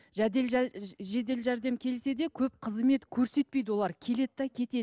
жедел жәрдем келсе де көп қызмет көрсетпейді олар келеді де кетеді